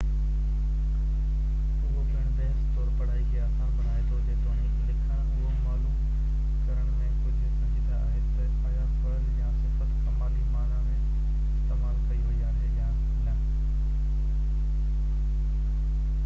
اهو پڻ بحث طور پڙهائي کي آسان بڻائي ٿو جيتوڻيڪ لکڻ اهو معلوم ڪرڻ ۾ ڪجهه سنجيده آهي ته آيا فعل يا صفت ڪمالي معني ۾ استعمال ڪئي وئي آهي يا نه